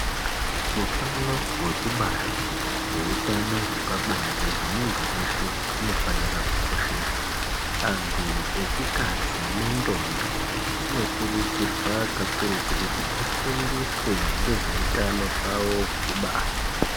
Hutano hwekubara nehutano hwepabonde hwemuntu weshe unofanira kukosheswa antu echikadzi nendombi dzinokurudzirwa kakurutu kuti dzifundiswe nezvehutano hwavo hwekubara.